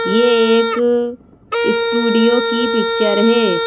ये एक स्टूडियो की पिक्चर है।